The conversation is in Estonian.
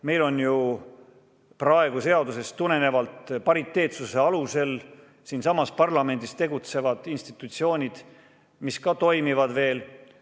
Meil on ju praegu seadusest tulenevalt pariteetsuse alusel siinsamas parlamendis tegutsevad institutsioonid, mis ka toimivad veel.